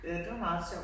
Ja det var meget sjovt